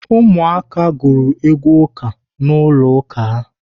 Ụmụ aka gụrụ egwu ụka n'ụlọ ụka ha.